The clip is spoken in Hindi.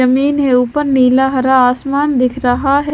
जमीन है ऊपर नीला हरा आसमान दिख रहा है।